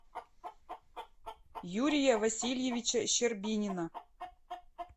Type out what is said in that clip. юрия васильевича щербинина